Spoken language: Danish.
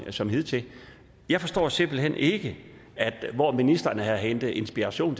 som hidtil jeg forstår simpelt hen ikke hvor ministeren har hentet inspiration